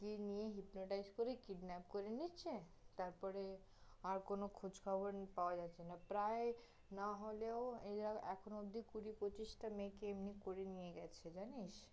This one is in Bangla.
গিয়ে নিয়ে hypnotize করে kidnap করে নিচ্ছে, তারপরে আর কোন নি~ খোঁজখবর পাওয়া যাচ্ছে না, প্রায় না হলেও এরা এখন অব্দি কুড়ি-পচিশ মেয়েকে এমনি করে নিয়ে গেছে, জানিস?